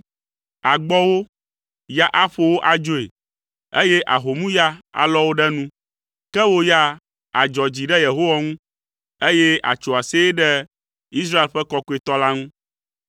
Àgbɔ wo, ya aƒo wo adzoe, eye ahomuya alɔ wo ɖe nu, ke wò ya, àdzɔ dzi ɖe Yehowa ŋu, eye àtso aseye ɖe Israel ƒe Kɔkɔetɔ la ŋu.